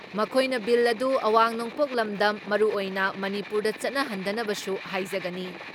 ꯃꯈꯣꯏꯅ ꯕꯤꯜ ꯑꯗꯨ ꯑꯋꯥꯡ ꯅꯣꯡꯄꯣꯛ ꯂꯝꯗꯝ ꯃꯔꯨꯑꯣꯏꯅ ꯃꯅꯤꯄꯨꯔꯗ ꯆꯠꯅꯍꯟꯗꯅꯕꯁꯨ ꯍꯥꯢꯖꯒꯅꯤ ꯫